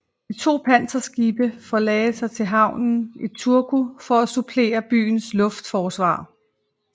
De to panserskibe forlagde til havnen i Turku for at supplere byens luftforsvar